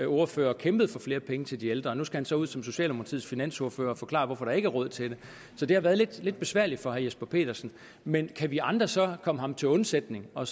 ordfører og kæmpede for flere penge til de ældre og nu skal han så ud som socialdemokratiets finansordfører og forklare hvorfor der ikke er råd til det så det har været lidt besværligt for herre jesper petersen men kan vi andre så komme ham til undsætning og